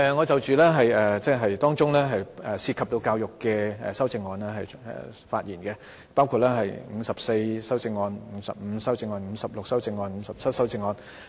主席，我會就涉及教育的修正案發言，包括編號第54、55、56及57號修正案。